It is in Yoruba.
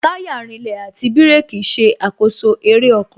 Táyà rinlẹ̀, àti bírèkī ṣe àkoso eré ọkọ̀